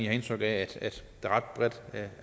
har indtryk af der ret bredt